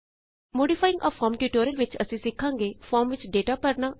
modifying a Formਟਿਯੂਟੋਰਿਅਲ ਵਿਚ ਅਸੀਂ ਸਿਖਾਂਗੇ ਫੋਰਮ ਵਿਚ ਡੇਟਾ ਭਰਨਾ